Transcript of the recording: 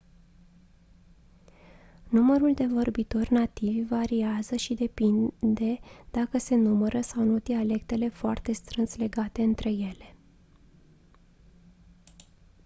numărul de vorbitori nativi variază și depinde dacă se numără sau nu dialectele foarte strâns legate între ele